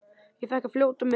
Ég fékk að fljóta með.